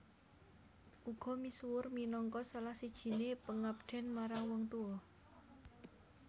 Uga misuwur minangka salah sijiné pangabden marang wong tua